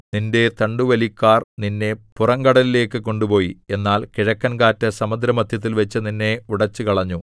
നിന്റെ തണ്ടുവലിക്കാർ നിന്നെ പുറങ്കടലിലേക്ക് കൊണ്ടുപോയി എന്നാൽ കിഴക്കൻകാറ്റ് സമുദ്രമദ്ധ്യത്തിൽവച്ച് നിന്നെ ഉടച്ചുകളഞ്ഞു